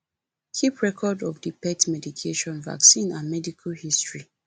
keep better record of di pet medication vaccine and medical history